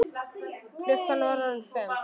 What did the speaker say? Klukkan var orðin fimm.